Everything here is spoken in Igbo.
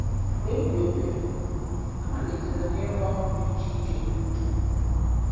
Mgbe m dị obere, amalitere m ịrụ ọrụ dị iche iche n'ugbo.